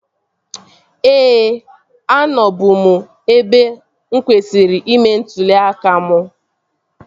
Ee, anọ bu m n'ebe mụ kwesịrị ime ntụli aka m